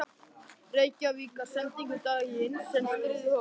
Reykvíkingar sendingu daginn sem stríðið hófst.